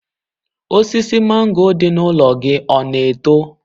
Osisi mango dị n'ụlọ gị ọ na-eto?